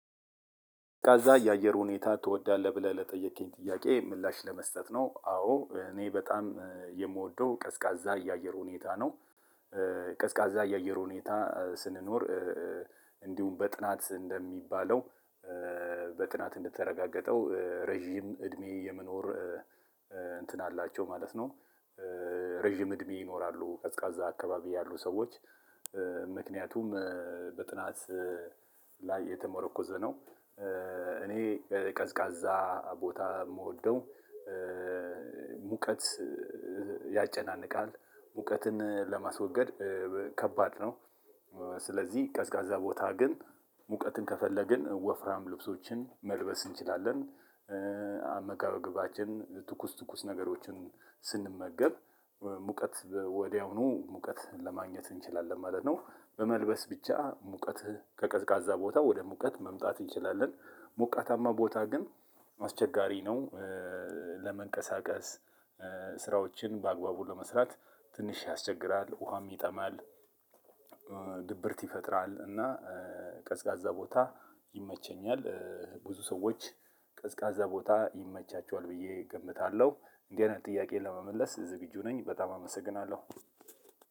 ቀዝቃዛ የአየር ሁኔታ ትወዳለህ? ብለህ ለጠየቅክኝ ጥያቄ ምላሽ ለመስጠት ነው። አዎ እኔ በጣም የምወደው ቀዝቃዛ የአየር ሁኔታ ነው። ቀዝቃዛ የአየር ሁኔታ ስንኖር እንዲሁም በጥናት እንደሚባለው በጥናት እንደተረጋገጠው ረጅም እድሜ የመኖር እንትን አላቸው ማለት ነው። ረጅም እድሜ ይኖራሉ። ቀዝቃዛ አካባቢ ያሉ ሰዎች ምክንያቱም በጥናት ላይ የተመረኮዘ ነው። እኔ ቀዝቃዛ ቦታ የምወደው ሙቀት ያጨናንቃል ሙቀትን ለማስወገድ ከባድ ነው። ስለዚህ ቀዝቃዛ ቦታ ግን ሙቀትን ከፈለግን ወፍራም ልብሶችን መልበስ እንችላለን። አመጋገባችን ትኩስ ትኩስ ነገሮችን ስንመገብ ሙቀት ወዲያውኑ ሙቀት ለማግኘት እንችላለን ማለት ነው። በመልበስ ብቻ ሙቀት ከቀዝቃዛ ቦታ ወደ ሙቀት መምጣት እንችላለን። ሞቃታማ ቦታ ግን አስቸጋሪ ነው። ለመንቀሳቀስ ስራዎችን በአግባቡ ለመስራት ትንሽ ያስቸግራል ውሃም ይጠማል ድብርት ይፈጥራል እና ቀዝቃዛ ቦታ ይመቸኛል። ብዙ ሰዎች ቀዝቃዛ ቦታ ይመቻቸዋል ብዬ ገምታለሁ። እንዲህ አይነት ጥያቄዎችን ለመመለስ ዝግጁ ነኝ በጣም አመሰግናለሁ።